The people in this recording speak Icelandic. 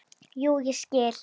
Jú, ég skil.